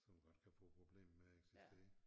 Som godt kan få problemer med at eksistere